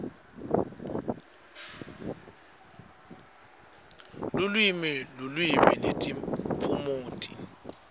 lulwimi lulwimi netiphumuti